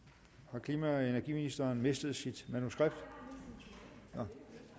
har klima og energiministeren mistet sit manuskript nej